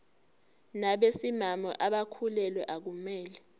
nabesimame abakhulelwe akumele